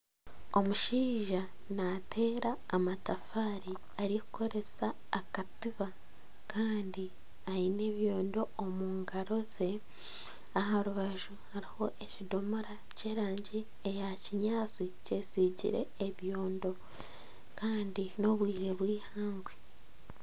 Omushaija nateera amatafaari arikukoresa akatiba kandi aine ebyondo omu ngaro ze. Aha rubaju hariho ekidomora ky'erangi eya kinyaatsi kyesiigire ebyondo Kandi n'obwire bweihangwe.